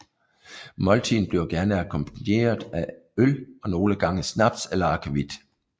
Måltiden bliver gerne akkompagneret af øl og nogle gange snaps eller akvavit